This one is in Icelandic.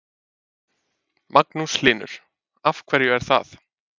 Magnús Hlynur: Af hverju er það?